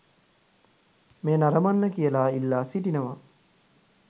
මෙය නරඹන්න කියලා ඉල්ලා සිටිනවා.